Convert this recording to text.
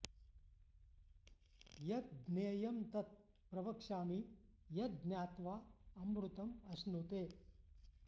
यत् ज्ञेयं तत् प्रवक्ष्यामि यत् ज्ञात्वा अमृतम् अश्नुते